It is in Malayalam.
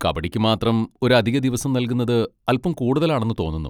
കബഡിക്ക് മാത്രം ഒരു അധിക ദിവസം നൽകുന്നത് അൽപ്പം കൂടുതലാണെന്ന് തോന്നുന്നു.